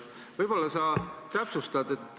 Võib-olla sa täpsustad.